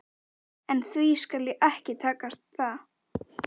En því skal ekki takast það.